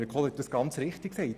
Kohler hat es richtig gesagt: